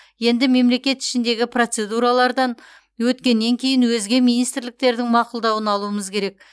енді мемлекет ішіндегі процедуралардан өткеннен кейін өзге министрліктердің мақұлдауын алуымыз керек